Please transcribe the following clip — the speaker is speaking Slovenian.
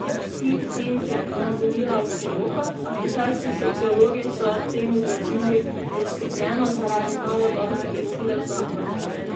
Tingting je privolila v poroko, a kitajski sociologi so ob tem izrazili zaskrbljenost zaradi novodobne prisile v zakon.